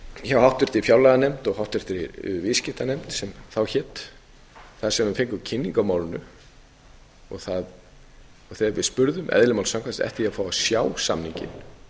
hjá háttvirtri fjárlaganefnd og háttvirtri viðskiptanefnd sem þá hét þar sem við fengum kynningu á málinu þegar við spurði eðli málsins samkvæmt eftir því að fá að sjá samninginn